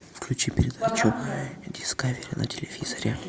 включи передачу дискавери на телевизоре